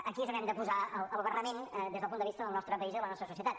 aquí és on hem de posar la barrera des del punt de vista del nostre país i de la nostra societat